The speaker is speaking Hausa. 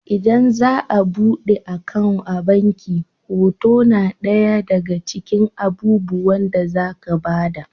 Idan za a buɗe akawun a abnki hoto na ɗaya daga cikin abubuwan da za ka ba da.